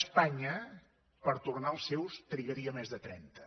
espanya per tornar els seus en trigaria més de trenta